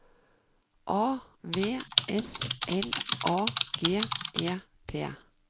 A V S L A G E T